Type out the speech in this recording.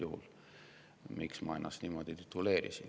miks ma antud juhul ennast niimoodi tituleerisin.